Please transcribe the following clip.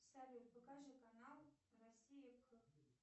салют покажи канал россия